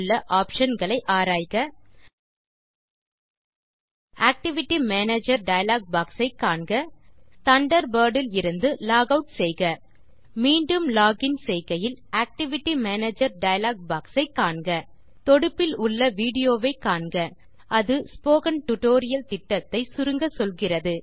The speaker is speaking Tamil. உள்ள ஆப்ஷன் களை ஆராய்க ஆக்டிவிட்டி மேனேஜர் டயலாக் பாக்ஸ் ஐ காண்க தண்டர்பர்ட் இலிருந்து லாகவுட் செய்க மீண்டும் லோகின் செய்கையில் ஆக்டிவிட்டி மேனேஜர் டயலாக் பாக்ஸ் ஐ காண்க தொடுப்பில் உள்ள விடியோவை காண்க அது ஸ்போக்கன் டியூட்டோரியல் திட்டத்தை சுருங்கச்சொல்கிறது